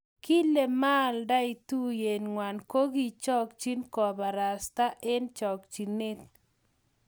kile maaldae tuyet ngwai ko kakichochyi kobarasta eng chakchyinet